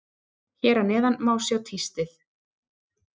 Hér að neðan má sjá tístið.